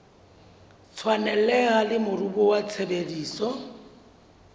tshwaneleha le moruo wa tshebetso